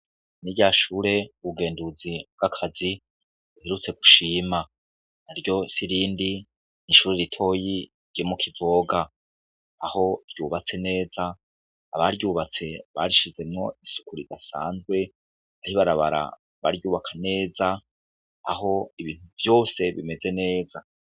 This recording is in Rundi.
Ni rya shure ubugenduzi bw'akazi buherutse gushima. Naryo si irindi, ni ishure ritoyi ryo mu kuvoga, aho ryubatse neza. Abaryubatse barishizemwo isuku ridasanzwe, aho ibarabara baryubaka neza, aho ibintu vyose bimeze neza.